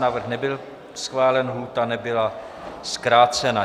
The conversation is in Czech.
Návrh nebyl schválen, lhůta nebyla zkrácena.